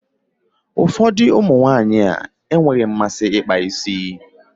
Ụfọdụ ụmụ nwaanyị e nweghị mmasị ịkpa isi.